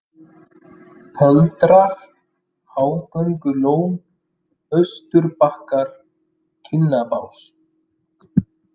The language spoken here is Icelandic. Pöldrar, Hágöngulón, Austurbakkar, Kinnabás